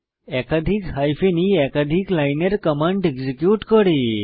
একাধিক hyphen e একাধিক লাইনের কমান্ড এক্সিকিউট করে